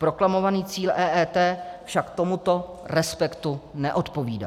Proklamovaný cíl EET však tomuto respektu neodpovídá.